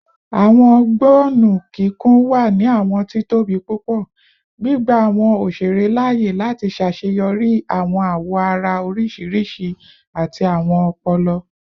Awọn gbọnnu kikun wa ni awọn titobi pupọ, gbigba awọn oṣere laaye lati ṣaṣeyọri awọn awoara oriṣiriṣi ati awọn ọpọlọ